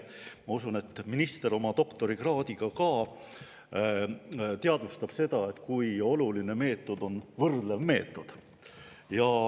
Ma usun, et minister oma doktorikraadiga ka teadvustab seda, kui oluline meetod on võrdlev meetod.